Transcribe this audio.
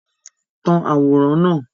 Tan àwòrán náà!